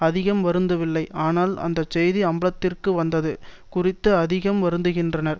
அதிகம் வருந்தவில்லை ஆனால் அந்தச்செய்தி அம்பலத்திற்கு வந்தது குறித்து அதிகம் வருந்துகின்றனர்